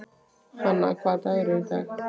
Hanna, hvaða dagur er í dag?